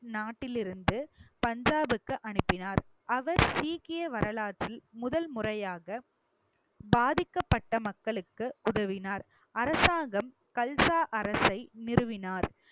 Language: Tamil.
நாட்டிலிருந்து பஞ்சாப்க்கு அனுப்பினார் அவர் சீக்கிய வரலாற்றில் முதல் முறையாக பாதிக்கப்பட்ட மக்களுக்கு உதவினார் அரசாங்கம் கல்சா அரசை நிறுவினார்